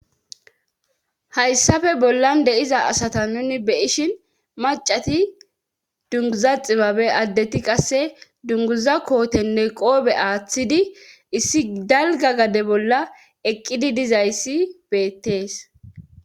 Hayssafe bollan deiza asata nuni beyishin macati dunguza ximabe addeti qasse dunguza kootenne qoobe aaththidi issi galga gade bolla eqqidi dizayssi beettees.